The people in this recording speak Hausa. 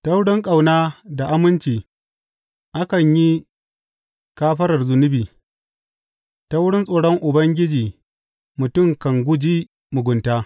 Ta wurin ƙauna da aminci akan yi kafarar zunubi; ta wurin tsoron Ubangiji mutum kan guji mugunta.